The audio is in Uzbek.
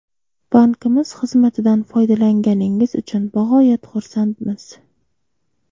Bankimiz xizmatidan foydalanganingiz uchun bog‘oyat xursandmiz.